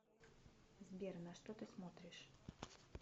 сбер на что ты смотришь